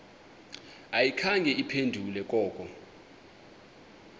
ayikhange iphendule koko